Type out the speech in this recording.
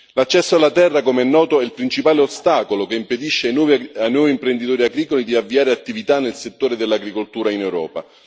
L'accesso alla terra, come è noto, è il principale ostacolo che impedisce ai nuovi imprenditori agricoli di avviare attività nel settore dell'agricoltura in Europa.